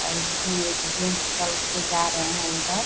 और इसमें एक जेन्ट्स टाइप के जा रहे है उधर।